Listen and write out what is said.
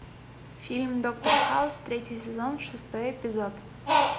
фильм доктор хаус третий сезон шестой эпизод